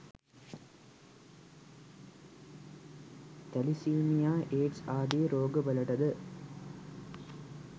thalassemia AIDS ආදී රෝගවලටද